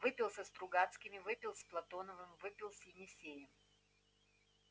выпил со стругацкими выпил с платоновым выпил с есениным